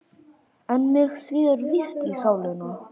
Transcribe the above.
En mig svíður víst í sálina.